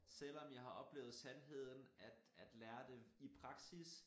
Selvom jeg har oplevet sandheden at lære det i praksis